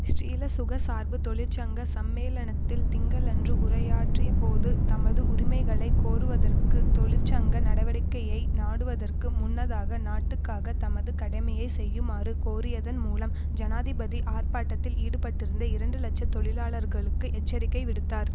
ஸ்ரீலசுக சார்பு தொழிற்சங்க சம்மேளனத்தில் திங்களன்று உரையாற்றியபோது தமது உரிமைகளை கோருவதற்கு தொழிற்சங்க நடவடிக்கையை நாடுவதற்கு முன்னதாக நாட்டுக்காக தமது கடமையை செய்யுமாறு கோரியதன் மூலம் ஜனாதிபதி ஆர்ப்பாட்டத்தில் ஈடுபட்டிருந்த இரண்டு இலட்சம் தொழிலாளர்களுக்கு எச்சரிக்கை விடுத்தார்